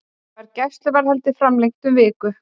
Var gæsluvarðhaldið framlengt um viku